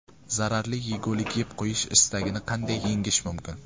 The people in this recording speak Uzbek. Zararli yegulik yeb qo‘yish istagini qanday yengish mumkin?.